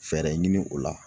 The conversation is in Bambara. Fɛɛrɛ ɲini o la